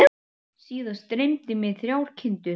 Síðast dreymdi mig þrjár kindur.